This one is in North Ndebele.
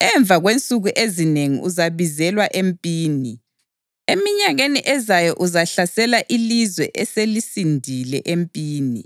Emva kwensuku ezinengi uzabizelwa empini. Eminyakeni ezayo uzahlasela ilizwe eselisindile empini,